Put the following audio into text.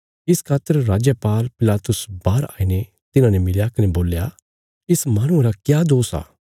इस खातर राजपाल पिलातुस बाहर आईने तिन्हांने मिलया कने बोल्या इस माहणुये रा क्या दोष आ